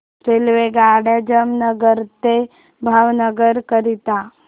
रेल्वेगाड्या जामनगर ते भावनगर करीता